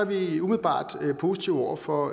vi umiddelbart positive over for